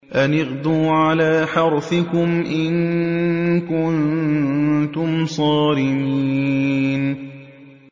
أَنِ اغْدُوا عَلَىٰ حَرْثِكُمْ إِن كُنتُمْ صَارِمِينَ